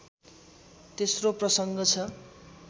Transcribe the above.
तेस्रो प्रसङ्ग छ